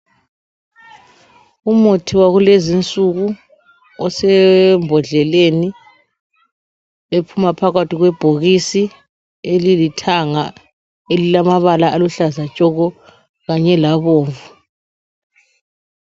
Umuthi wakulezi insuku osembodleleni ephuma phakathi kwebhokisi elilithanga elilamabala aluhlaza tshoko kanye labomvu.